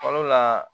Fɔlɔ la